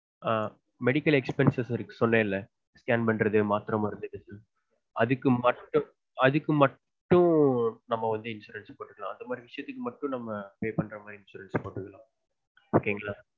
ஆஹ் medical expensives இருக்கு சொன்னல scan பண்றது மாத்திரை மருந்து அதுக்கு மட்டும் அதுக்கு மட்டும் நம்ம வந்து insurance போட்டுக்களான் expensives pay பண்ற மாதிரி மட்டும் insurance போட்டுக்குளான் ok ங்களா